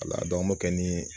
Ala an b'o kɛ ni